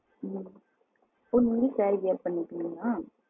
ம் ஓ நீங்களே சேரி wear பன்னிபிங்களா?